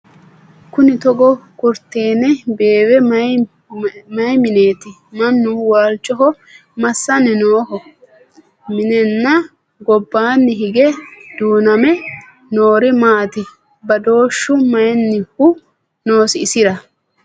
Kunni togo kuritteenne beewihu mayi mineetti? Mannu waalichoho massanni nooho? Mineenna gobbanni hige duunnamme noori maatti? Badooshshu mayiinnihu noosi isira?